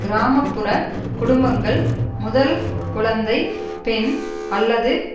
கிராமப்புறக் குடும்பங்கள் முதல் குழந்தை பெண் அல்லது